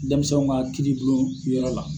Dɛnmisɛnw ka kiiribulon yɔrɔ la.